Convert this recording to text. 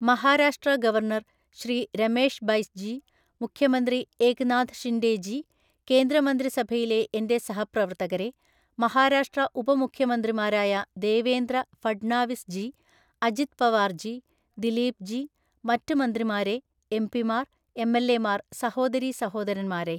Maharashtra governor Shri Ramesh Bais ji, മുഖ്യമന്ത്രി ഏകനാഥ് ഷിൻഡേ ജി, കേന്ദ്രമന്ത്രിസഭയിലെ എന്റെ സഹപ്രവർത്തകരേ, മഹാരാഷ്ട്ര ഉപമുഖ്യമന്ത്രിമാരായ ദേവേന്ദ്ര ഫഡ്നാവിസ് ജി, അജിത് പവാർ ജി, ദിലീപ് ജി, മറ്റ് മന്ത്രിമാരേ, എംപിമാർ, എംഎൽഎമാർ, സഹോദരീസഹോദരന്മാരേ!